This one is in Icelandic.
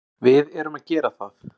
Við erum að gera það.